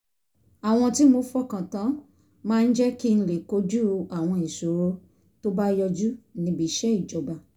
àwọn tí mo fọkàn tán máa ń jẹ́ kí n lè kojú àwọn ìṣòro tó bá yọjú níbi iṣẹ́ ìjọba